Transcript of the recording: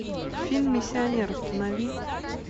фильм миссионер установи